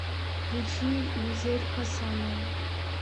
включи гузель хасанова